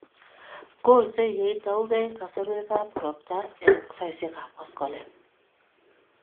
golsei ye itaugei kasarwekap ropta eng' saisyekap koskoleng'.